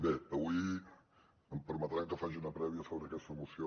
bé avui em permetran que faci una prèvia sobre aquesta moció